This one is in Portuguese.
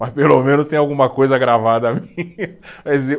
Mas pelo menos tem alguma coisa gravada minha.